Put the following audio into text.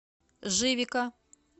живика